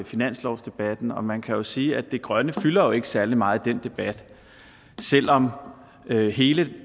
finanslovsdebatten og man kan sige at det grønne fylder ikke særlig meget i den debat selv om hele